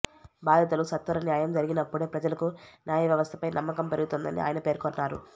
బాధితులకు సత్వర న్యాయం జరిగినప్పుడే ప్రజలకు న్యాయవ్యవస్థపై నమ్మకం పెరుగుతుందని ఆయన పేర్కొన్నారు